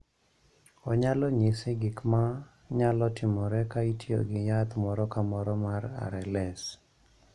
Onyalo nyisi gik ma nyalo timore ka itiyo gi yath moro ka moro mar RLS.